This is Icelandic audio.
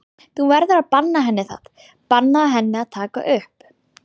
Þú verður að banna henni það, bannaðu henni að taka upp!